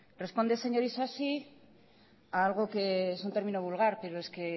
responde señor isasi a algo que es un término vulgar pero es que